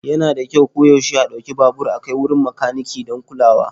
Yana da kyau koyaushe a ɗauki babur a kai wurin makaniki don kulawa.